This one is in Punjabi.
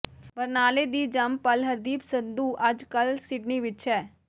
ਬਰਨਾਲੇ ਦੀ ਜੰਮ ਪਲ ਹਰਦੀਪ ਸੰਧੂ ਅੱਜ ਕੱਲ ਸਿਡਨੀ ਵਿੱਚ ਹੈ